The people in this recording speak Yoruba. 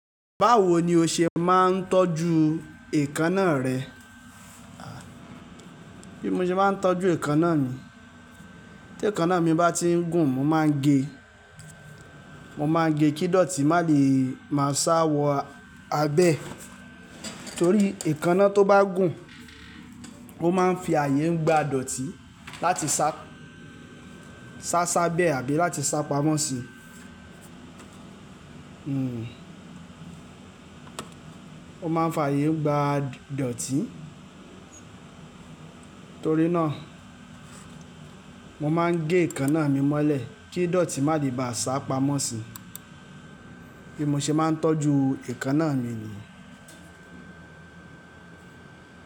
Báwo ni o ṣe máa ń tọ́jú èékánná rẹ? Bí mo ṣe máa ń tọ́jú èékánná mi. Tí èékánná mi bá tí ń gùn mo máa ń gé, mo máa ń gé kí dọ̀tí má lè má sá wọ abẹ́. Nítorí èékánná tó bá gùn ó máa ń fi ààyè gba dọ̀tí láti sá, sá sá abẹ́ àbí láti sá pamọ́ sí i. Hmm. Ó máa ń fi ààyè gba dọ̀tí. Nítorí náà mo máa ń gé èékánná mi mọ́lẹ̀ kí dọ̀tí má lè bá a sá pamọ́ sí i. Bí mo ṣe máa ń tọ́jú èékánná mi ni.